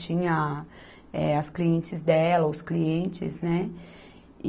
Tinha, eh, as clientes dela, os clientes, né? E